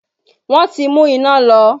Wọn ti mú iná lọ